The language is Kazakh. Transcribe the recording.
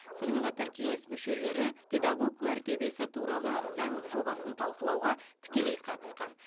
сонымен қатар кеңес күшелері педагог мәртебесі туралы заң жобасын талқылауға тікелей қатысқан